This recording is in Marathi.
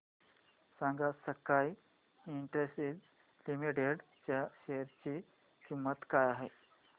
सांगा स्काय इंडस्ट्रीज लिमिटेड च्या शेअर ची किंमत काय आहे